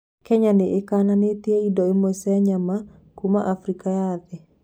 Kenya nĩĩkananĩtie indo imwe cia nyama kuma Afrika ya thĩ